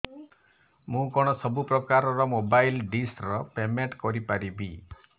ମୁ କଣ ସବୁ ପ୍ରକାର ର ମୋବାଇଲ୍ ଡିସ୍ ର ପେମେଣ୍ଟ କରି ପାରିବି